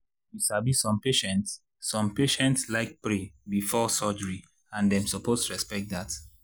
you sabi some patients some patients like pray before surgery and dem suppose respect dat.